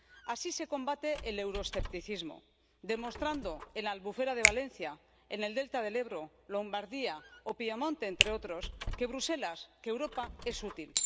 Así se combate el euroescepticismo demostrando en la Albufera de Valencia, en el Delta del Ebro, Lombardía o Piamonte, entre otros, que Bruselas, que Europa es útil